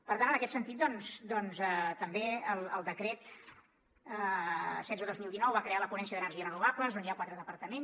per tant en aquest sentit doncs també el decret setze dos mil dinou va crear la ponència d’energies renovables on hi ha quatre departaments